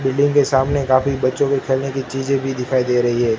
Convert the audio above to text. Building के सामने काफी बच्चों के खेलने की चीजें भी दिखाई दे रही है।